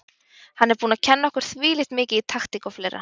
Hann er búinn að kenna okkur þvílíkt mikið í taktík og fleira.